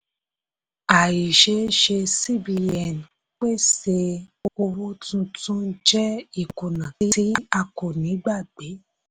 àìṣeéṣe cbn pèsè owó tuntun jẹ́ ìkùnà tí a kò ní gbàgbé.